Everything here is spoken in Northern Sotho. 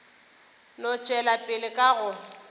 no tšwela pele ka go